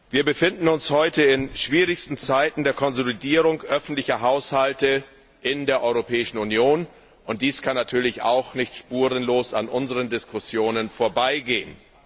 Wir befinden uns heute in schwierigsten Zeiten der Konsolidierung öffentlicher Haushalte in der Europäischen Union, und dies kann natürlich auch nicht spurlos an unseren Diskussionen vorbeigehen.